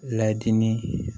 Layidinin